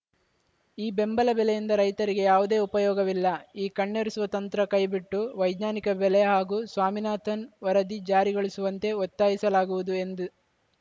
ಈ ಬೆಂಬಲ ಬೆಲೆಯಿಂದ ರೈತರಿಗೆ ಯಾವುದೇ ಉಪಯೋಗವಿಲ್ಲ ಈ ಕಣ್ಣೊರೆಸುವ ತಂತ್ರ ಕೈಬಿಟ್ಟು ವೈಜ್ಞಾನಿಕ ಬೆಲೆ ಹಾಗೂ ಸ್ವಾಮಿನಾಥನ್‌ ವರದಿ ಜಾರಿಗೊಳಿಸುವಂತೆ ಒತ್ತಾಯಿಸಲಾಗುವುದು ಎಂದು